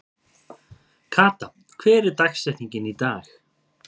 Kata, hver er dagsetningin í dag?